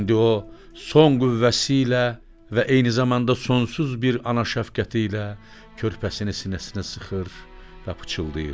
İndi o son qüvvəsi ilə və eyni zamanda sonsuz bir ana şəfqəti ilə körpəsini sinəsinə sıxır və pıçıldayır.